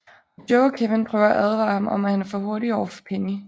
Og Joe og Kevin prøver at advare ham om at han er for hurtig over for Penny